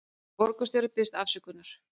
Borgarstjóri biðjist afsökunar